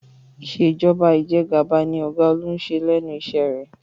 Ìṣèjọba Ìjẹgàba ni ọ̀gá Olú ń ṣe lẹ́nu iṣẹ́ rẹ̀